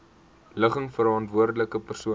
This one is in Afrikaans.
ligging verantwoordelike persoon